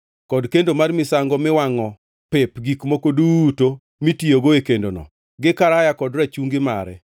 kod kendo mar misango miwangʼo pep gi gik moko duto mitiyogo e kendono, gi karaya kod rachungi mare,